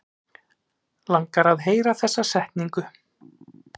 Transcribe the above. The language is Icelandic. Langar að heyra þessa setningu.